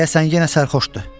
Deyəsən yenə sərxoşdur.